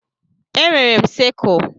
Enwere m siskle.